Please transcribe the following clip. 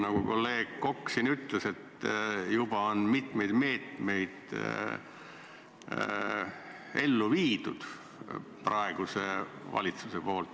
Nagu kolleeg Kokk siin ütles, et juba on mitmeid meetmeid ellu viidud praeguse valitsuse poolt.